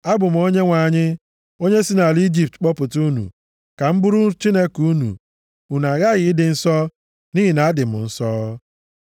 Abụ m Onyenwe anyị, onye si nʼala Ijipt kpọpụta unu, ka m bụrụ Chineke unu. Unu aghaghị ịdị nsọ, nʼihi na adị m nsọ.